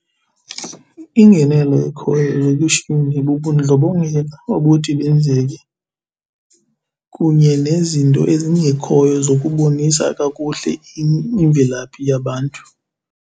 Ingenelo ekhoyo nokwishumi bubudlobongela obuthi benzeke, kunye nezinto ezingekhoyo zokubonisa kakuhle imvelaphi yabantu.